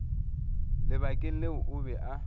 lebakeng leo o be a